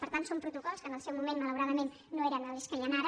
per tant són protocols que en el seu moment malauradament no eren els que hi han ara